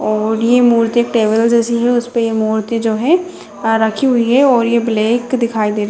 और ये मूर्ति एक टेबल जैसी है उसपे ये मूर्ति जो है आ रखी हुई है और ये ब्लैक दिखाई दे रहा।